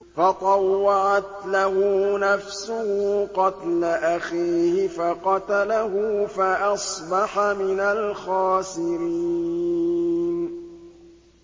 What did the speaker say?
فَطَوَّعَتْ لَهُ نَفْسُهُ قَتْلَ أَخِيهِ فَقَتَلَهُ فَأَصْبَحَ مِنَ الْخَاسِرِينَ